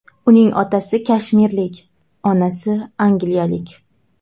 Uning otasi kashmirlik, onasi angliyalik.